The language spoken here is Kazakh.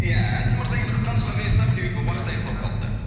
ия әділ мырза енді қысқа нұсқа қайырсақ себебі уақыт аяқталып қалыпты